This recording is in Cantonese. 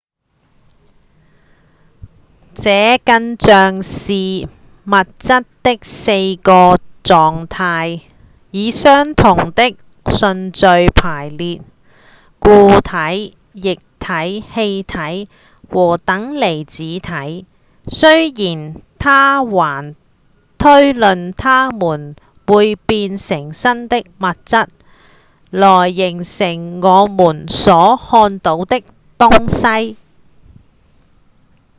這更像是物質的4個狀態以相同的順序排列：固體、液體、氣體和等離子體雖然他還推論它們會變成新的物質來形成我們所看到的東西